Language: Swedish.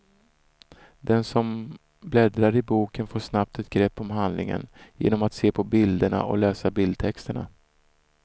Den som bläddrar i boken får snabbt ett grepp om handlingen genom att se på bilderna och läsa bildtexterna.